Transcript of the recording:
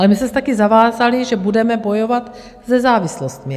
Ale my jsme se taky zavázali, že budeme bojovat se závislostmi.